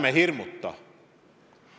Ärme hirmutame!